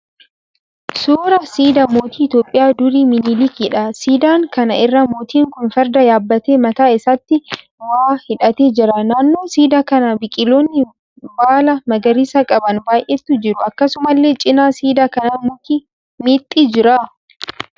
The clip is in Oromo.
Suuraa siidaa mootii Itiyoopiyaa durii Minilikiidha. Siidaa kana irraa mootiin kun Farda yaabbatee mataa isaatti waa hidhatee jira. Naannoo siidaa kanaa biqiloonni baala magariisa qaban baay'eetu jiru. Akkasumallee cina siidaa kanaa muki meexxii jira.